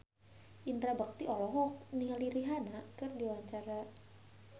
Indra Bekti olohok ningali Rihanna keur diwawancara